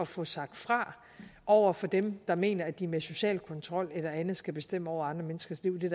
få sagt fra over for dem der mener at de med social kontrol eller andet skal bestemme over andre menneskers liv det